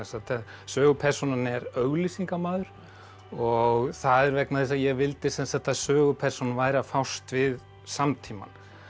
sögupersónan er og það er vegna þess að ég vildi að sögupersónan væri að fást við samtímann